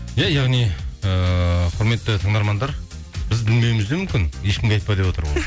иә яғни ыыы құрметті тыңдармандар біз білмеуіміз де мүмкін ешкімге айтпа деп отыр ғой